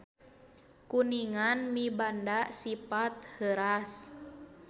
Kuningan mibanda sipat heuras.